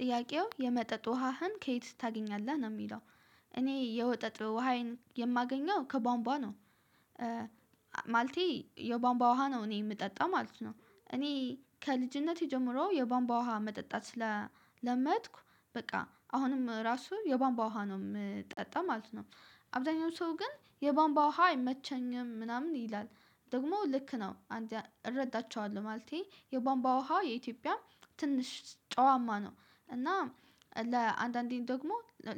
ጥያቄው የመጠጥ ውሃህን ከየት ታገኛለህ ነው ሚለው? እኔ የወጠጥ ውሃዬን የማገኘው ከባንባ ነው። ማለቴ የባንባ ውሃ ነው እኔ ምጠጣው ማለት ነው እኔ ከልጅነቴ ጀምሮ የባንባ ውሃ መጠጣት ስለለመድኩ በቃ አሁንም ራሱ የባንባ ውሃ ነው ምጠጣው ማለት ነው። አብዛኛው ሰው ግን የባንባ ውሃ አይመቸኝም ምናምን ይላል ደግሞ ልክ ነው። እረዳቸዋለሁ ማለቴ የባንባ ውሃ የኢትዮጵያ ትንሽ ጨዋማ ነው። እና ለአንዳንዴ ደግሞ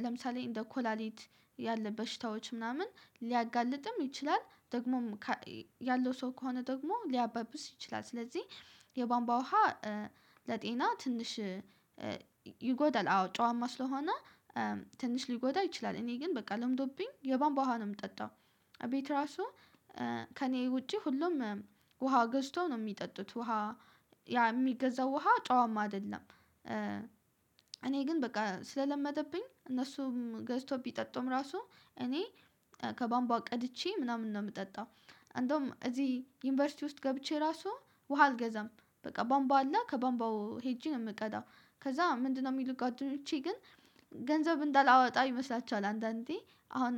ለምሳሌ እንደ ኮላሊት ያለ በሽታዎች ምናምን ሊያጋልጥም ይችላል። ደግሞም ያለው ሰው ከሆነ ደግሞ ሊያባብስ ይችላል። ስለዚህ የባንባ ውሃ ለጤና ትንሽ ይጎዳል አዎ ጨዋማ ስለሆነ። ትንሽ ሊጎዳ ይችላል እኔ ግን በቃ ለምዶብኝ የባንባ ውሃ ነው ምጠጣው። ቤት ራሱ ከእኔ ውጪ ሁሉም ውሃ ገዝቶ ነው ሚጠጡት ውሃ ያ የሚገዛው ውሃ ጨዋም አይደለም። እኔ ግን በቃ ስለለመደብኝ እነሱም ገዝቶብኝ ቢጠጡም ራሱ እኔ ከባምቧ ቀድቼ ምናምን ነው ምጠጣው። አንዱውም እዚህ ዩኒቨርሲቲ ውስጥ ገብቼ ራሱ ውሃ አልገዛም በቃ ባምባው አለ ከባምባው ሄጄ ነው የምቀጣው። ከዛ ምንድነው የሚሉት ጓደኞቼ ግን ገንዘብ እንዳላወጣ ይመስላችኋል? አንዳንዴ አሁን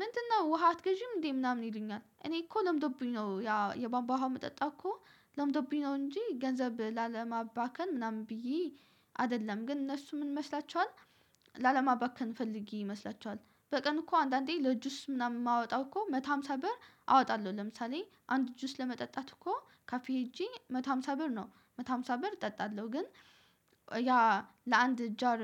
ምንድነው ውሃ አትገዢም እንዴ ምናምን ይሉኛል። እኔ እኮ ለምደብኝ ነው ያ የባንባ ውሃ መጠጣ እኮ ለምዶብኝ ነው እንጂ ገንዘብ ላለማባከን ምናምን ብዬ አይደለም። ግን እነሱ ምን መስላችኋል ላለማባከን ፈልጌ ይመስላችኋል? በቀን እኮ አንዳንዴ ለእጁስ ምናምን የማወጣው እኮ አንድ መቶ አምሳ ብር አወጣለሁ ለምሳሌ አንድ እጁስ ለመጠጣት እኮ ካፌ ሄጄ አንድ መቶ አምሳ ብር መቶ ሃምሳ ብር እጠጣለሁ። ግን ያ ለአንድ ጃር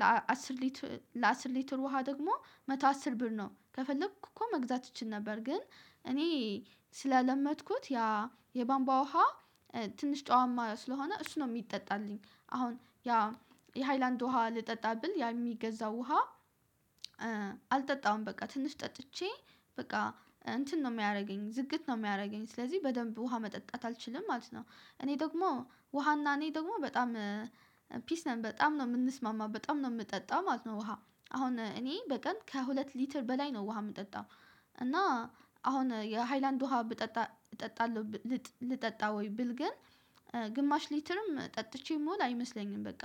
ለአስር ሊትር ለአስር ሊትር ውሃ ደግሞ መቶ አስር ብር ነው ከፈለኩ እኮ መግዛት እችል ነበር ግን። እኔ ስለለመድኩት ያ የባንባ ውሃ ትንሽ ጨዋማ ስለሆነ እሱ ነው ሚጠጣልኝ። አሁን ያ የሃይላንድ ውሃ ልጠጣ ብል ያ የሚገዛው ውሃ አልጠጣም በቃ ትንሽ ጠጥቼ በቃ እንትን ነው ሚያደርገኝ ዝግት ነው ሚያደርገኝ ስለዚህ በደንብ ውሃ መጠጣት አልችልም። ማለት ነው እኔ ደግሞ ውሃና እኔ ደግሞ በጣም ፒስ ነን በጣም ነው ምንስማማ በጣም ነው ምጠጣው ማለት ነው። ውሃ አሁን እኔ በቀን ከሁለት ሊትር በላይ ነው ውሃ ምጠጣው። እና አሁን የሃይላንድ ውሃ ብጠጣ እጠጣለሁ። ልጠጣ ወይ ብል ግን ግማሽ ሊትርም ጠጥቼ ሞውል አይመስለኝም በቃ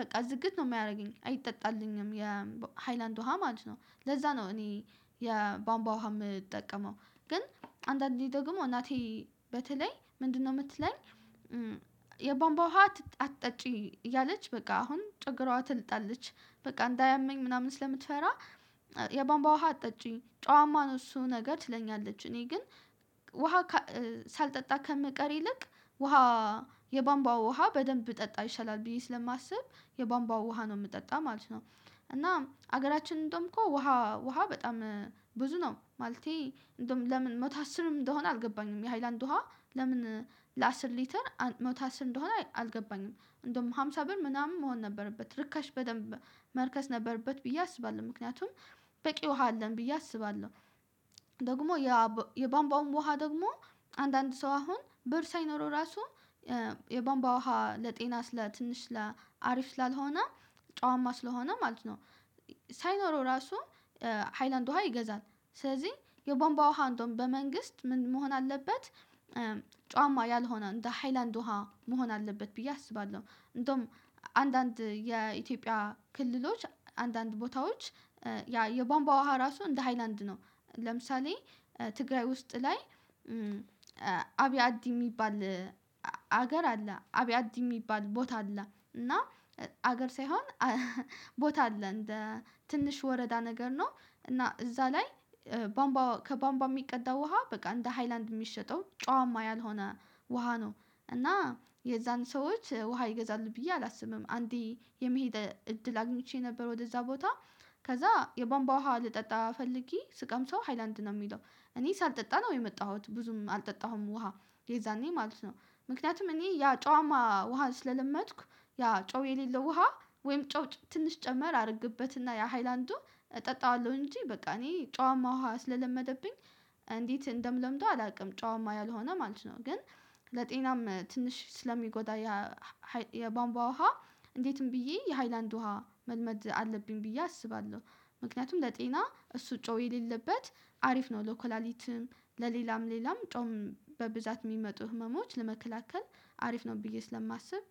በቃ ዝግት ነው ሚያደርገኝ አይጠጣልኝም የሃይላንድ ውሃ ማለት ነው። ለዛ ነው እኔ የባንባ ውሃ የምጠቀመው ግን አንዳንዴ ደግሞ እናቴ በተለይ ምንድነው ምትለኝ? የባንባ ውሃ አትጣጪ እያለች በቃ አሁን ጨግሯ ትልጣለች በቃ እንዳያመኝ ምናምን ስለምትፈራ የባንባ ውሃ አትጠጪኝ ጨዋማ ነው እሱ ነገር ትለኛለች። እኔ ግን ውሃ ሳልጠጣ ከመቀር ይልቅ ውሃ የባምባው ውሃ በደንብ ብጠጣ ይሻላል ብዬ ስለማስብ የባንባው ውሃ ነው ምጠጣ ማለት ነው። እና ሀገራችንን እንደውም እኮ ውሃ ውሃ በጣም ብዙ ነው ማለቴ እንደውም ለምን መቶ አስርም እንደሆነ አልገባኝም። የሃይላንድ ውሃ ለምን ለአስር ሊትር መቶ አስር እንደሆነ አልገባኝም። እንደውም ሃምሳ ብር ምናምን መሆን ነበረበት ርካሽ በደንብ መርከስ ነበረበት ብዬ አስባለሁ። ምክንያቱም በቂ ውሃ አለን ብዬ አስባለሁ። ደግሞ የባንባውን ውሃ ደግሞ አንዳንድ ሰው አሁን ብር ሳይኖረው ራሱ የባንባ ውሃ ለጤና ስለ ትንሽ ለአሪፍ ስላልሆነ ጨዋማ ስለሆነ ማለት ነው። ሳይኖረው ራሱ ሃይላንድ ውሃ ይገዛል። ስለዚህ የቦንባ ውሃ እንደውም በመንግስት ምን መሆን አለበት። ጫዋማ ያልሆነ እንደ ሃይላንድ ውሃ መሆን አለበት ብዬ አስባለሁ። እንደውም አንዳንድ የኢትዮጵያ ክልሎች አንዳንድ ቦታዎች ያ የቦምባ ውሃ ራሱ እንደ ሃይላንድ ነው። ለምሳሌ ትግራይ ውስጥ ላይ አብያዲ የሚባል ሀገር አለ አብያዲ የሚባል ቦታ አለ እና ሀገር ሳይሆን ቦታ አለ እንደ ትንሽ ወረዳ ነገር ነው እና እዛ ላይ ባምባ ከባምባ የሚቀዳ ውሃ በቃ እንደ ሃይላንድ የሚሸጠው ጫዋማ ያልሆነ ውሃ ነው። እና የዛን ሰዎች ውሃ ይገዛል ብዬ አላስብም። አንዴ የመሄድ እድል አግኝቼ ነበር ወደዛ ቦታ። ከዛ የቦምባ ውሃ ልጠጣ ፈልጌ ስቀምሰው ሃይላንድ ነው የሚለው እኔ ሳልጠጣ ነው የመጣሁት ብዙም አልጠጣሁም። ውሃ የዛኔ ማለት ነው። ምክንያቱም እኔ ያ ጨዋማ ውሃ ስለለመጥኩ ያ ጨው የሌለው ውሃ ወይም ጨው ትንሽ ጨመር አድርግበትና ያ ሃይላንድ እጠጣዋለሁ እንጂ በቃ እኔ ጨዋማ ውሃ ስለለመደብኝ። እንዴት እንደምለምደው አላውቅም። ጨዋማ ያልሆነ ማለት ነው። ግን ለጤናም ትንሽ ስለሚጎዳ። የባንቧ ውሃ እንዴትም ብዬ የሃይላንድ ውሃ መልመድ አለብኝ ብዬ አስባለሁ። ምክንያቱም ለጤና እሱ ጮህ የሌለበት አሪፍ ነው ለካላሊትም ለሌላም ሌላም ጾም በብዛት የሚመጡ ህመሞች ለመከላከል አሪፍ ነው። ብዬ ስለማስብ